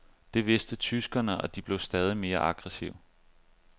Det vidste tyskerne, og de blev stadig mere aggressive.